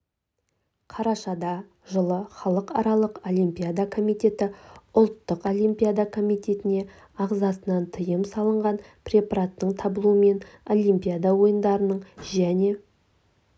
қарашада жылы халықаралық олимпиада комитеті ұлттық олимпиада комитетіне ағзасынан тыйым салынған препараттың табылуымен олимпиада ойындарының және